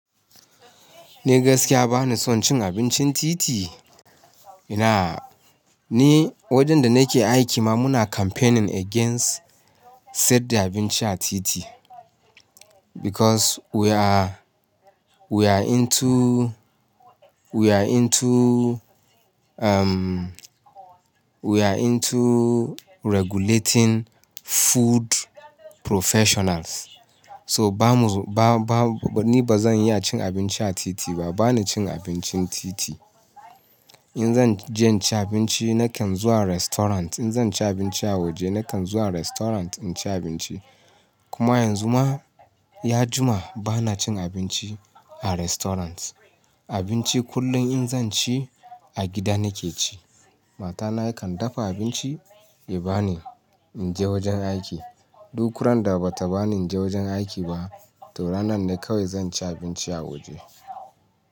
Ni gaskiya ba ni son cin abincin titi. Ina-- ni wajenda nake aiki ma muna campaigning against sayadda abinci a titi. Because we are, we are into, we are into, umm, we are into regulating food professionals. So ba mu, ba, ba, ni ba zan iya cin abinci a titi ba, ba ni cin abincin titi. In zan je in ci abinci na kan zuwa restaurant. In zan ci abinci a waje na kan zuwa restaurant in ci abinci. Kuma yanzu ma, ya jima bana cin abinci a restaurant. Abinci kullum in zan ci a gida nake ci. Mata ya kan dafa abinci ya bani in je wajen aiki. Duk ran da bata bani in je wajen aiki ba to ranan ne kawai zan ci abinci a waje.